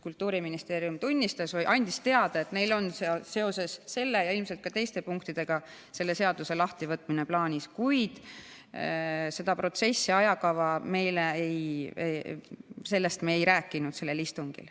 Kultuuriministeerium tunnistas või andis teada, et neil on seoses selle ja ilmselt ka teiste punktidega selle seaduse lahtivõtmine plaanis, kuid selle protsessi ajakavast me ei rääkinud sellel istungil.